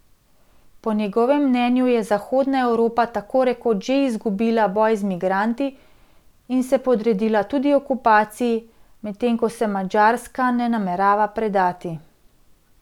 Po njegovem mnenju je Zahodna Evropa tako rekoč že izgubila boj z migranti in se podredila tuji okupaciji, medtem ko se Madžarska ne namerava predati.